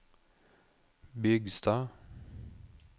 Bygstad